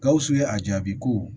Gawusu ye a jaabi ko